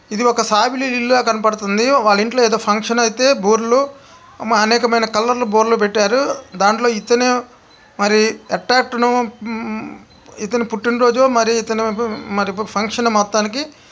ఇది ఒక సాయిబుల ఇల్లు కనపడతాంది. వాళ్ళ ఇంట్లో ఏదో ఫంక్షన్ . అయితే బూరలు అనేకమైన కలర్ లా బూరలు పెట్టారు. దాంట్లో ఇతను మరి ఎట్టా ఎట్తనో ఉమ్-ఉమ్ ఇతని పుట్టినరోజు మరి ఇతను ఉమ్ మరి ఫంక్షన్ మొత్తానికి.